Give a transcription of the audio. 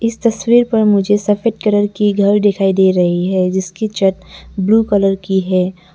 इस तस्वीर पर मुझे सफेद कलर की घर दिखाई दे रही है जिसकी छत ब्लू कलर की है।